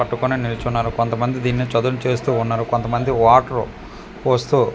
పట్టుకొని నిల్చున్నారు కొంతమంది దీన్ని చదున్ చేస్తూ ఉన్నారు కొంతమంది వాటర్ పోస్తూ.